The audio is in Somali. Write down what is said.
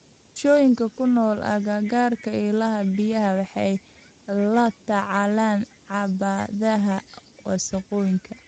Bulshooyinka ku nool agagaarka ilaha biyaha waxay la tacaalaan caqabadaha wasakhowga.